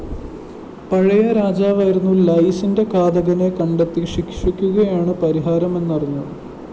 പഴയ രാജാവായിരുന്ന ലൈയ്‌സിന്റെ ഘാതകനെ കണ്ടെത്തി ശിക്ഷിക്കുകയാണ് പരിഹാരമെന്ന് അറിഞ്ഞു